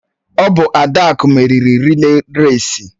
Ọ bụ Adaku meriri rịlè rèsi.